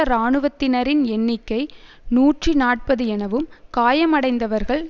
இராணுவத்தினரின் எண்ணிக்கை நூற்றி நாற்பது எனவும் காயமடைந்தவர்கள்